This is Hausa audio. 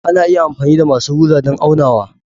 Ana iya amfani da masu rula don aunawa.